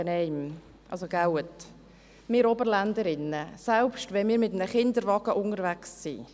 Wir Oberländerinnen sind nicht so ungeschickt, dass wir in jedes Auto hineinlaufen, selbst wenn wir mit einem Kinderwagen unterwegs sind!